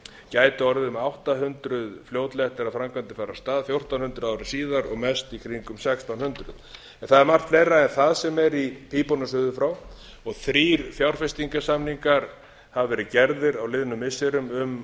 gæti orðið um átta hundruð fljótlega eftir að framkvæmdir fara af stað fjórtán hundruð ári síðar og mest í kringum sextán hundruð það er margt fleira en það sem er í pípunum suður frá og þrír fjárfestingarsamningar hafa verið gerðir á liðnum missirum um